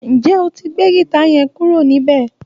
Ǹjé o ti gbé gìta yẹn kúrò níbẹ̀?